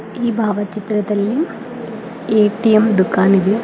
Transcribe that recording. ಈ ಭಾವಚಿತ್ರದಲ್ಲಿ ಎ_ಟಿ_ಎಂ ದುಕಾನ್ ಇದೆ.